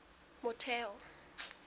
motheo